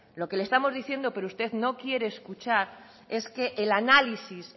lo que le estamos diciendo pero usted no quiere escuchar es que el análisis